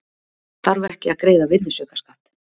Þarf ekki að greiða virðisaukaskatt